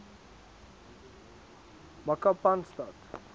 makapanstad